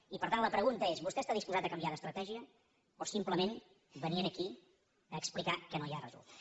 i per tant la pregunta és vostè està disposat a canviar d’estratègia o simplement venir aquí a explicar que no hi ha resultat